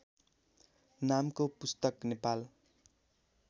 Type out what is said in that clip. नामको पुस्तक नेपाल